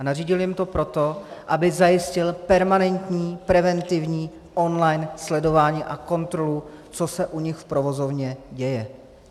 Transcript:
A nařídil jim to proto, aby zajistil permanentní, preventivní on-line sledování a kontrolu, co se u nich v provozovně děje.